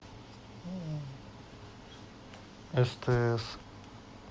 стс